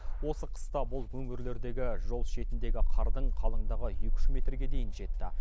осы қыста бұл өңірлердегі жол шетіндегі қардың қалыңдығы екі үш метрге дейін жетті